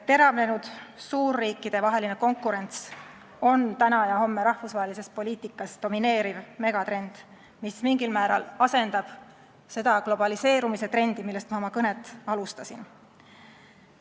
Teravnenud suurriikidevaheline konkurents on täna ja homme rahvusvahelises poliitikas domineeriv megatrend, mis mingil määral asendab seda globaliseerumise trendi, millest ma oma kõnet alustasin.